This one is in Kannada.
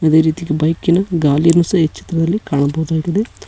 ಅದೇ ರೀತಿ ಬೈಕ್ ಇನ ಗಾಲಿನು ಸಹ ಈ ಚಿತ್ರದಲ್ಲಿ ಕಾಣಬಹುದಾಗಿದೆ.